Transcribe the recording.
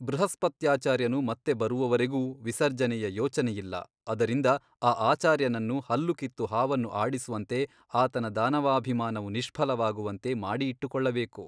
ಬೃಹಸ್ಪತ್ಯಾಚಾರ್ಯನು ಮತ್ತೆ ಬರುವವರೆಗೂ ವಿಸರ್ಜನೆಯ ಯೋಚನೆಯಿಲ್ಲ ಅದರಿಂದ ಆ ಆಚಾರ್ಯನನ್ನು ಹಲ್ಲು ಕಿತ್ತು ಹಾವನ್ನು ಆಡಿಸುವಂತೆ ಆತನ ದಾನವಾಭಿಮಾನವು ನಿಷ್ಫಲವಾಗುವಂತೆ ಮಾಡಿ ಇಟ್ಟುಕೊಳ್ಳಬೇಕು.